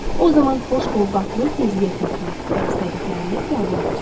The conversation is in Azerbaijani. O zaman xoş ovqatlı tezliyə köklən və istədiklərini qəbul edəcəksən.